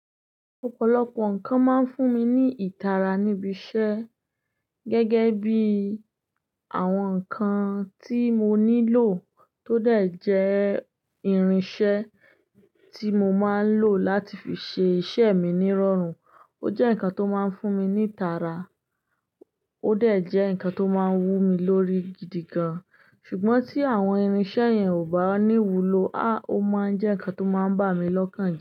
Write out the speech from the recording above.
Ọ̀pọ̀lọpọ̀ nǹkan máa ń fún mi ní ìtara níbi iṣẹ́ gẹ́gẹ́ bí àwọn nǹkan tí mo nílò tó dà jẹ́ irinṣẹ́ tí mo máa ń lò láti fi ṣe iṣẹ́ mi nírọ̀rùn. Ó jẹ́ nǹkan tó máa ń fún mi ní ìtara, ó de jẹ́ nǹkan tó máa ń wú mi lórí gidi gan-an. Ṣùgbọ́n tí àwọn irinṣẹ́ yẹn ò bá ní wúlò, a! Ó máa ń jẹ́ nǹkan tó máa ń bà mí lọ́kàn je.